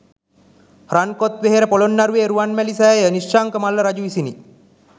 රන් කොත් වෙහෙර පොළොන්නරුවේ රුවන්මැලි සෑය නිශ්ශංක මල්ල රජු විසිනි.